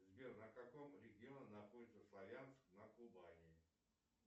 сбер на каком регионе находится славянск на кубани